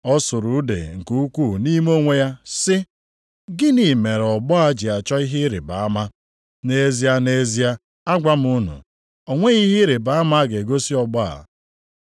Ọ sụrụ ude nke ukwuu nʼime onwe ya sị, “Gịnị mere ọgbọ a ji achọ ihe ịrịbama? Nʼezie, nʼezie, agwa m unu, o nweghị ihe ịrịbama a ga-egosi ọgbọ a.”